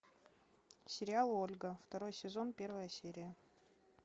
сериал ольга второй сезон первая серия